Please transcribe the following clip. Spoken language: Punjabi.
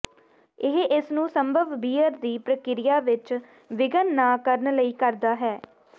ਇਹ ਇਸ ਨੂੰ ਸੰਭਵ ਬੀਅਰ ਦੀ ਪ੍ਰਕਿਰਿਆ ਵਿਚ ਵਿਘਨ ਨਾ ਕਰਨ ਲਈ ਕਰਦਾ ਹੈ